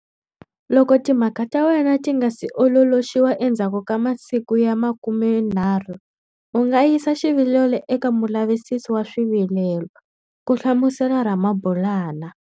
Loko timhaka ta wena ti nga si ololoxiwa endzhaku ka masiku ya 30, u nga yisa xivilelo eka Mulavisisi wa Swivilelo, ku hlamusela Ramabulana.